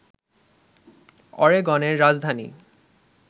অরেগনের রাজধানী